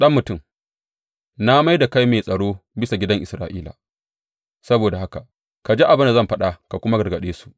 Ɗan mutum, na mai da kai mai tsaro bisa gidan Isra’ila; saboda haka ka ji abin da zan faɗa ka kuma gargaɗe su.